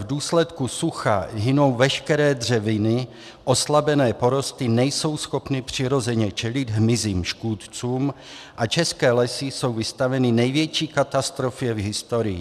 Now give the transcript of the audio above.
V důsledku sucha hynou veškeré dřeviny, oslabené porosty nejsou schopny přirozeně čelit hmyzím škůdcům a české lesy jsou vystaveny největší katastrofě v historii.